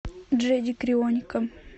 джеди крионика